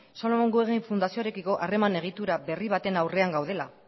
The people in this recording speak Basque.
solomon guggenheimen fundazioarekiko harreman egitura berri baten aurrean gaudela